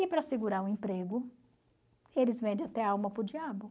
E para segurar o emprego, eles vendem até a alma para o diabo.